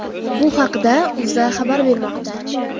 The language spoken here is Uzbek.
Bu haqda O‘zA xabar bermoqda.